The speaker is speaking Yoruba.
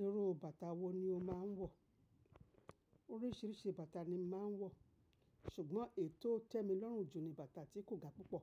Irú bàtà wo ni o máa ń wọ̀? Oríṣìíríṣìí bàtà ni mo màá ń wọ̀, ṣùgbọ́n èyí tó tẹ́ mi lọ́rùn jù ni bàtà tí kò ga púpọ̀.